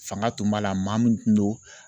Fanga tun b'a la maa mn tun don